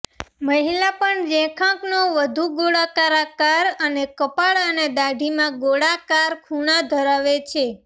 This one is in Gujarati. મહિલા પણ રેખાંકનો વધુ ગોળાકાર આકાર અને કપાળ અને દાઢી માં ગોળાકાર ખૂણા ધરાવે છે